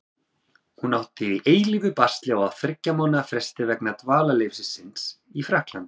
Hún átti í eilífu basli á þriggja mánaða fresti vegna dvalarleyfis síns í Frakklandi.